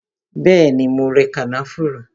Bẹẹni, mo rẹ kànáfùrú